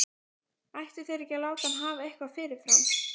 Ættu þeir ekki að láta hann hafa eitthvað fyrirfram?